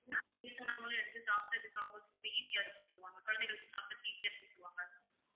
வயசானவங்களும் எடுத்து சாப்பிடுறதுக்கு அவங்களுக்கு easy ஆ இருக்கும்னு சொல்லுவாங்க குழந்தைகளுக்கும் சாப்பிடுறதுக்கு easy ஆ இருக்கும்னு சொல்லுவாங்க